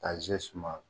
Ka ze suma